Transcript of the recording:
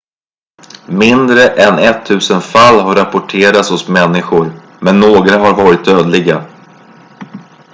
mindre än ettusen fall har rapporterats hos människor men några har varit dödliga